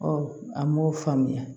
an m'o faamuya